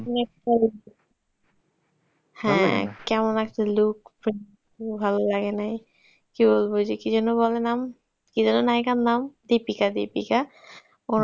হ্যাঁ, কেমন একটা look ভাললাগে নাই চুলগুলি কি যেন বলে নাম কি যেন নায়িকার নাম দীপিকা দীপিকা